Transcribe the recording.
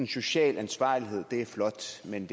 social ansvarlighed er flot men